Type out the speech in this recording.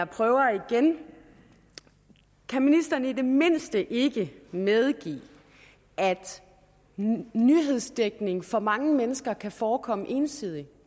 prøver igen kan ministeren i det mindste ikke medgive at nyhedsdækning for mange mennesker kan forekomme ensidig